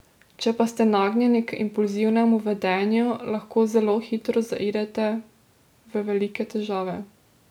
Če pa ste nagnjeni k impulzivnemu vedenju, lahko zelo hitro zaidete v velike težave.